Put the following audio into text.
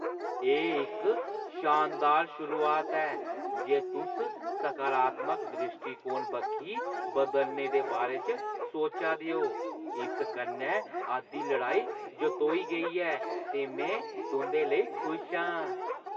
एह् इक शानदार शुरुआत ऐ जे तुस सकारात्मक द्रिश्टीकोण बक्खी बदलने दे बारे च सोचा दे ओ। इस कन्नै अद्धी लड़ाई जतोई गेई ऐ ते में तुंʼदे लेई खुश आं।